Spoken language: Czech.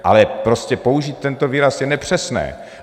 Ale prostě použít tento výraz je nepřesné.